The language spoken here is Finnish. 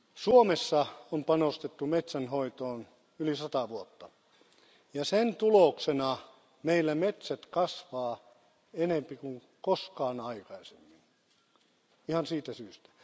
Suomessa on panostettu metsänhoitoon yli 100 vuotta ja sen tuloksena meillä metsät kasvavat enemmän kuin koskaan aikaisemmin, ihan siitä syystä.